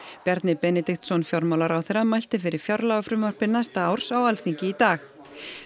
Bjarni Benediktsson fjármálaráðherra mælti fyrir fjárlagafrumvarpi næsta árs á Alþingi í dag